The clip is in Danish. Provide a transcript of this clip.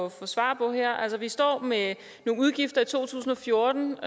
at få svar på vi står med nogle udgifter i to tusind og fjorten